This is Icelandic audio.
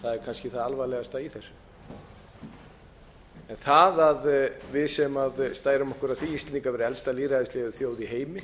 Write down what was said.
kannski það alvarlegasta í þessu það að okkur íslendingum sem stærum okkur af því að vera elsta lýðræðislega þjóð í